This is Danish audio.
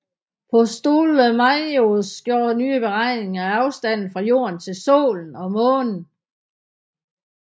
Ptolemaios gjorde nye beregninger af afstanden fra jorden til solen og månen